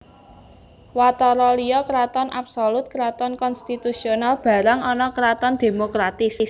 Watara liya Kraton absolut Kraton konstitusional barang ana Kraton demokratis